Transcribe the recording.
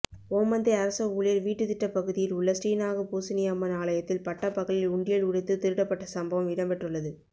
ஓமந்தை அரச ஊழியர் வீட்டுத்திட்ட பகுதியில் உள்ள ஸ்ரீநாகபூசனி அம்மன் ஆலயத்தில் பட்டப்பகலில் உண்டியல் உடைத்து திருடப்பட்டசம்பவம் இடம்பெற்றுள்ளது